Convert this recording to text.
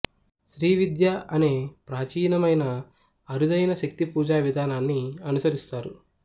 శ్రీ విద్య అనే ప్రాచీనమైన అరుదైన శక్తి పూజా విధానాన్ని అనుసరిస్తారు